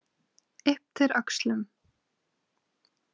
Ypptir öxlum.